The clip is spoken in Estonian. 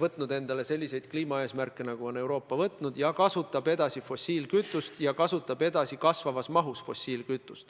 võtnud endale selliseid kliimaeesmärke, nagu on Euroopa võtnud, ja kasutab edasi fossiilkütust, ja seda kasvavas mahus.